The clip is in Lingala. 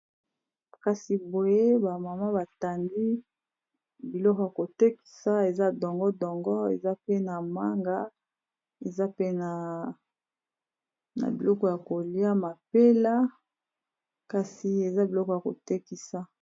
Kasi boye ba mama batandi biloko ya kotekisa, eza dongo dongo, eza pe na manga, eza pe na biloko ya kolia neti mapela kasi eza biloko ya kotekisa.